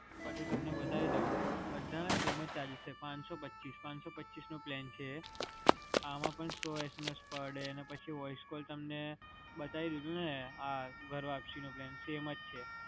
પછી તમને બટાઈ દઉં. બધાના same જ charges છે, પાંચસો પચીસ, પાંચસો પચીસ નો plan છે. આમાં પણ સો SMS per day અને એના પછી voice call તમને બતાઈ દીધું ને, આ ઘરવાપસી નો plan same જ છે.